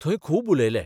थंय खूब उलयले.